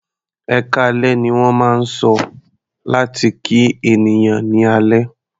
"Ẹkáalẹ́" ní wọ́n máa ń sọ láti kí ènìyàn ní alẹ́.